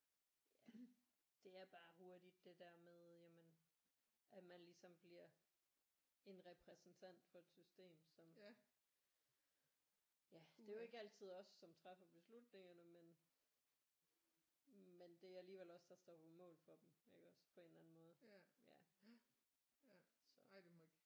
Ja det er bare hurtigt det der med jamen at man ligesom bliver en repræsentant for et system som ja det er jo ikke altid os som træffer beslutningerne men men det er alligevel os der står på mål for dem iggås på en eller anden måde ja så